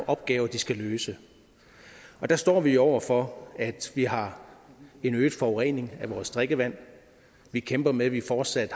opgaver den skal løse der står vi jo over for at vi har en øget forurening af vores drikkevand vi kæmper med at vi fortsat